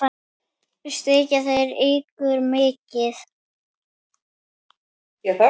Styrkja þeir ykkur mikið?